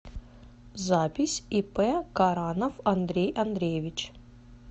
запись ип каранов андрей андреевич